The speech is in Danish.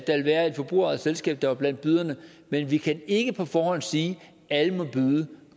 være et forbrugerejet selskab der var blandt byderne men vi kan ikke på forhånd sige alle må byde